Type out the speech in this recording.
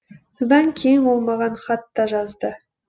содан кейін ол маған хат та жазды